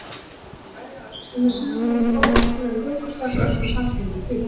Hann sló í lærið á Össuri með silfurbúnum, fordildarlegum göngustaf svo Össur sárkenndi til.